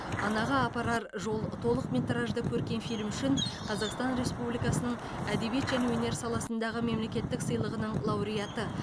анаға апарар жол толықметражды көркем фильмі үшін қазақстан республикасының әдебиет және өнер саласындағы мемлекеттік сыйлығының лауреаты